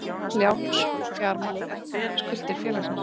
Lánsfjármagn er skuldir félagsins.